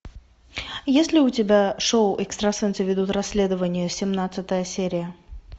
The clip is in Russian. есть ли у тебя шоу экстрасенсы ведут расследование семнадцатая серия